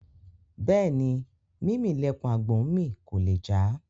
Bẹ́ẹ̀ni, Mímì lẹpọ̀n àgbò ńmì; kò lè já.